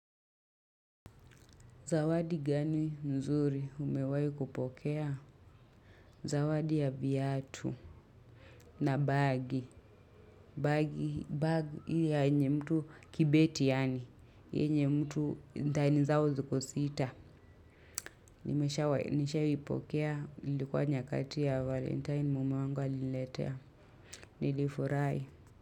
Zawadi gani nzuri umewahikupokea? Zawadi ya viatu na bagi. Bagi ya yenye mtu kibeti yaani. Yenye mtu ndani zao ziko sita. Nimeshaipokea ilikuwa nyakati ya valentine mume wangu aliniletea. Nilifurahi.